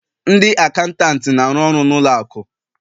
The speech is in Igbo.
Ndị acantant na-arụ ọrụ na ụlọ akụ